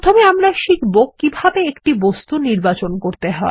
প্রথমে আমরা শিখবো কীভাবে একটি বস্তু নির্বাচন করতে হয়